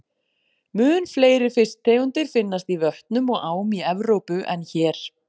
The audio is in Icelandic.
Mun fleiri fisktegundir finnast í vötnum og ám í Evrópu en hér.